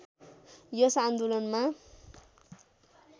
यस आन्दोलनमा